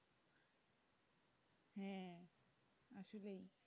হ্যাঁ আসলেই।